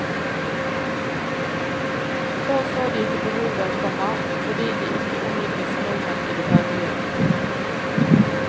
Før så de ikke behovet, komma fordi de ikke omgikkes nordmenn i det daglige. punktum